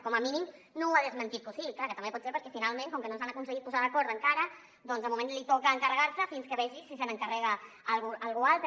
com a mínim no ha desmentit que ho sigui que també pot ser perquè finalment com que no s’han aconseguit posar d’acord encara doncs de moment li toca encarregar se’n fins que vegi si se n’encarrega algú altre